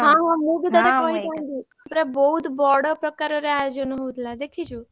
ହଁ ହଁ ମୁ ବି ତତେ କହିଥାନ୍ତି ପୁରା ବହୁତ ବଡ ପ୍ରକାର ରେ ଆୟୋଜନ ହଉଥିଲା ଦେଖିଛୁ?